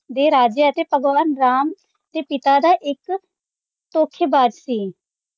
ਦੇ ਰਾਜਿਆਂ ਅਤੇ ਭਗਵਾਨ ਰਾਮ ਤੇ ਪਿਤਾ ਦਾ ਇੱਕ ਧੋਖੇਬਾਜ਼ ਸੀ